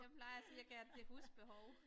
Jeg plejer at sige jeg kan det til husbehov